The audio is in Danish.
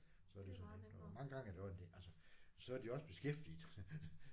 Så er det jo så nemt og mange gange er det også altså så er de også beskæftiget